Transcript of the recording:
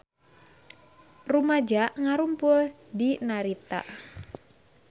Rumaja ngarumpul di Narita